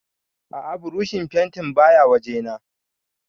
A'a burushin fentin baya wajena